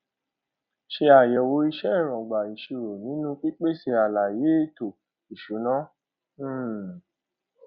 ṣe àyẹwò iṣẹ èróńgbà ìṣirò nínú pípèsè àlàyé éto ìṣúná um